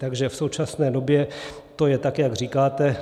Takže v současné době to je, tak jak říkáte.